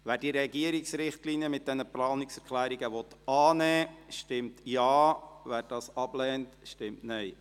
Wer die Regierungsrichtlinien mit diesen Planungserklärungen annehmen will, stimmt Ja, wer dies ablehnt, stimmt Nein.